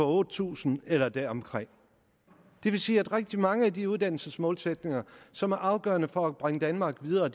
otte tusind eller deromkring det vil sige at rigtig mange af de uddannelsesmålsætninger som er afgørende for at bringe danmark videre